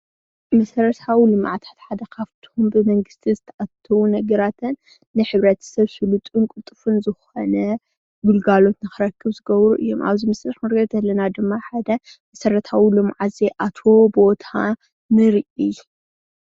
መሰረታዊ ልምዓት ሓደ ካብቶም ብ መንግስቲ ዝተአታተዉ ነገራትን ን ሕብረተ-ሰብ ስልጡን ቅልጡፉን ዝኮነ ግልጋሎት ንክረክብ ዝገብሩ እዮም። አብዚ ምስሊ ክንሪኢ ከለና ድማ ሓደ መሰረታዊ ልምዓት ዘይአተዎ ቦታ ንርኢ።